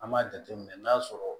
An b'a jateminɛ n'a sɔrɔ